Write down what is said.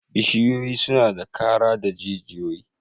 Bishiyoyi suna da kara da jijiyoyi